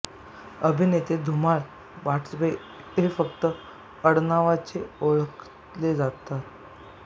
अभिनेते धुमाळ वाटवे हे फक्त आडनावाचे ओळखले जात